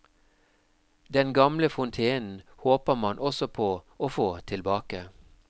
Den gamle fontenen håper man også på å få tilbake.